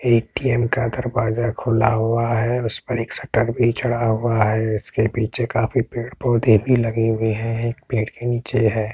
ATM का दरवाजा खुला हुआ है उस पर एक सटल भी चढ़ा हुआ है उसके पीछे काफी सारे पेड़-पौधे भी लगे हुए हैं। एक पेड़ के नीचे है।